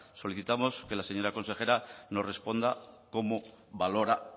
solicitamos que la señora consejera nos responda cómo valora